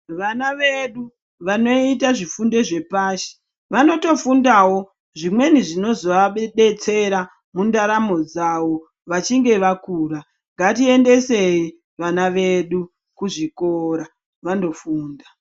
Vana vedu vanoita zvifundo zve pashi vanoto fundawo zvimweni zvinozo vadetsera mu ndaramo dzavo vachinge vakura ngati endesei vana vedu ku zvikora vando funda.